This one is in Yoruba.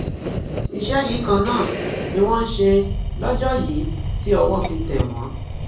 iṣẹ yìí kan náà ni wọn ń ṣe lọjọ yìí tí owó fi tẹ wọn